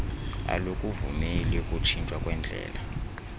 alukuvumeli ukutshintshwa kwendlela